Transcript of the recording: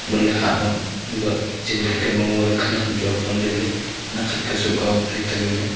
lohle ham ang ba zin dadkya ma ngole khanyak am chu awangle taile nak khatka sohkao tali tali le.